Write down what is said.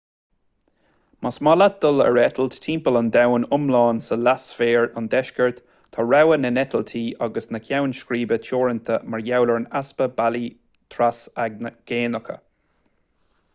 más maith leat dul ar eitilt timpeall an domhain iomlán sa leathsféar an deiscirt tá rogha na n-eitiltí agus na gceann scríbe teoranta mar gheall ar an easpa bealaí trasaigéanach